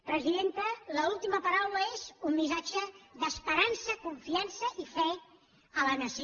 presidenta l’última paraula és un missatge d’esperança confiança i fe a la nació